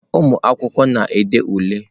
Ụmụ akwụkwọ na-ede ule.